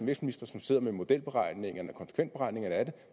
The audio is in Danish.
vækstminister som sidder med modelberegningerne og konsekvensberegningerne af det